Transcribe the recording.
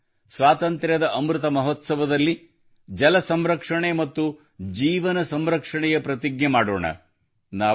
ಬನ್ನಿ ಸ್ವಾತಂತ್ರ್ಯದ ಅಮೃತ ಮಹೋತ್ಸವದಲ್ಲಿ ಜಲ ಸಂರಕ್ಷಣೆ ಮತ್ತು ಜೀವನ ಸಂರಕ್ಷಣೆಯ ಪ್ರತಿಜ್ಞೆ ಮಾಡೋಣ